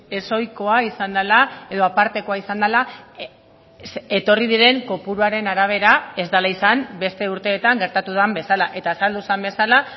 ezohikoa izan dela edo apartekoa izan dela etorri diren kopuruaren arabera ez dela izan beste urteetan gertatu den bezala eta azaldu zen bezala